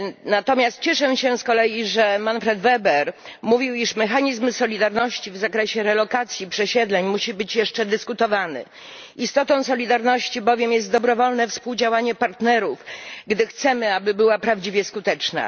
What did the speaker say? Natomiast cieszę się z kolei, że Manfred Weber mówił, iż mechanizm solidarności w zakresie relokacji przesiedleń musi być jeszcze dyskutowany. Istotą solidarności bowiem jest dobrowolne współdziałanie partnerów, gdy chcemy, aby była prawdziwie skuteczna.